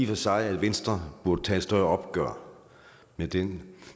for sig at venstre burde tage et større opgør med den